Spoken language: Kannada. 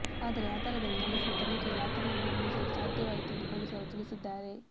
ಅದರ ಆಧಾರದಲ್ಲಿ ನಡೆಸಿದ ತನಿಖೆಯಲ್ಲಿ ಆತನನ್ನು ಬಂಧಿಸಲು ಸಾಧ್ಯವಾಯಿತೆಂದು ಪೊಲೀಸರು ತಿಳಿಸಿದ್ದಾರೆ